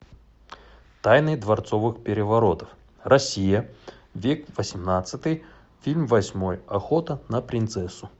тайны дворцовых переворотов россия век восемнадцатый фильм восьмой охота на принцессу